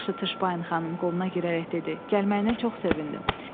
“Yaxşı, Tışpayın xanım,” qoluna girərək dedi, “gəlməyinə çox sevindim.”